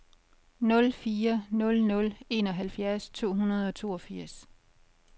nul fire nul nul enoghalvfjerds to hundrede og toogfirs